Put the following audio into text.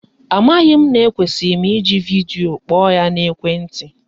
Amaghị m na ekwesiri m iji vidio kpọọ ya n'ekwenti